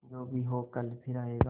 जो भी हो कल फिर आएगा